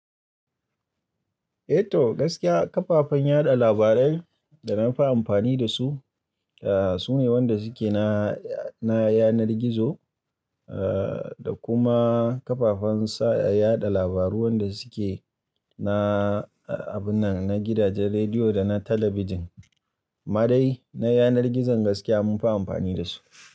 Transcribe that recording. Eh to gaskiya kafafen yaɗa labarai da nafi amfani da su, ah sune wanda suke na, na yanar gizo ah da kuma kafafen sa yaɗa labaru wanda suke na abun nan, na gidajen rediyo da na talabijin. Ma dai na yanar gizon gaskiya munfi amfani da su.